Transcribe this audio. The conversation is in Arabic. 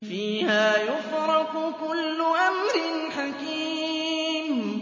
فِيهَا يُفْرَقُ كُلُّ أَمْرٍ حَكِيمٍ